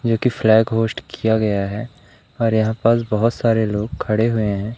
जो की flag host किया गया है और यहां पास बहोत सारे लोग खड़े हुए हैं।